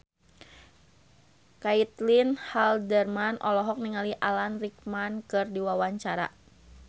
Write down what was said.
Caitlin Halderman olohok ningali Alan Rickman keur diwawancara